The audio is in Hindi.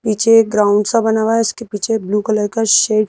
पीछे ये ग्राउंड सा बना हुआ है उसके पीछे ब्लू कलर का शे--